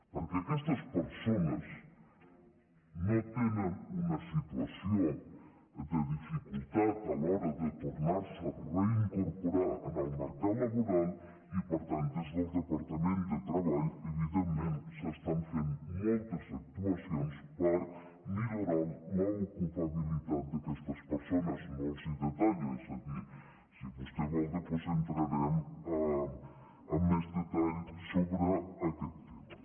perquè aquestes persones no tenen una situació de dificultat a l’hora de tornarse a reincorporar en el mercat laboral i per tant des del departament de treball evidentment s’estan fent moltes actuacions per millorar l’ocupabilitat d’aquestes persones no les hi detallo és a dir si vostè vol després entrarem amb més detall sobre aquest tema